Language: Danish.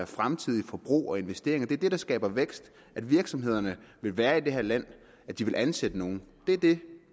fremtidens forbrug og investeringer det er det der skaber vækst at virksomhederne vil være i det her land og at de vil ansætte nogen det er det